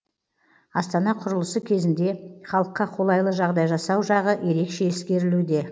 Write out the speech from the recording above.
астана құрылысы кезінде халыққа қолайлы жағдай жасау жағы ерекше ескерілуде